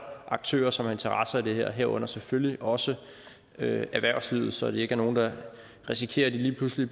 aktører som har interesse i det her herunder selvfølgelig også erhvervslivet så der ikke er nogen der risikerer lige pludselig